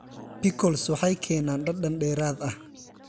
Pickles waxay keenaan dhadhan dheeraad ah.